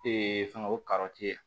fɛngɛ o